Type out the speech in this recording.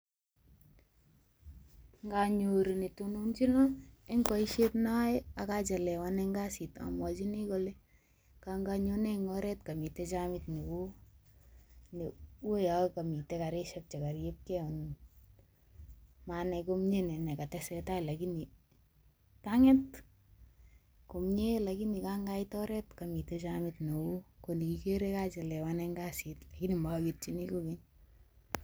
Nganyoru netononchino eng boisiet noae akachelewan eng kasit amwachini kole, kanganyone eng oret kamite jamit neo ne uyo kamite garishek chekaryepkei anyun. Manai komye ne nekatestai lakini kang'et komye lakini kangaite oret kamite jamit neo koni igere kachelewan kasit lakini moketchini kogeny.